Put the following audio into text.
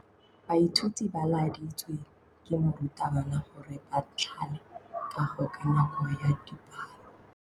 Baithuti ba laeditswe ke morutabana gore ba thale kagô ka nako ya dipalô.